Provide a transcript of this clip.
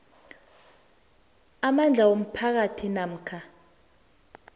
amandla womphakathi namkha